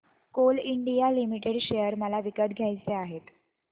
Coal India Limited share मला विकत घ्यायचे आहेत